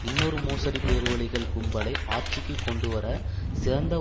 இன்னொரு மோசடி பேர்வழிகள் கும்பலைக் ஆட்சிக்கு கொண்டுவர சிறந்த